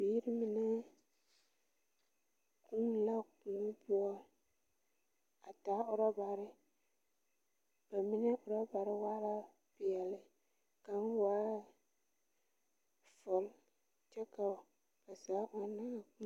Bibiiri la ɔŋnɔ kɔɔ baapʋɔ. Bidɔɔbilee bata a de pɔglee boŋyeni. Ba zaa vuunee la a ɔŋnɔ kɔɔ. kaŋa bogitu waala buluu kyɛ ka bayi bogituru waa peɛle a dene laa